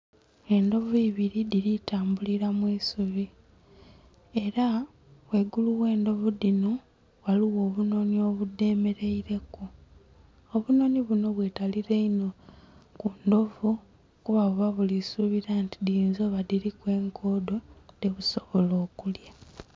Endhovu ibili dhili tambulila mu isubi. Ela ghaigulu gh'endhovu dhino ghaligho obunhonhi obudhemeleileku. Obunhonhi buno bwetalila inho ku ndhovu kuba buba buli suubila nti dhiyinza oba nga dhiliku enkoodo dhebusobola okulya.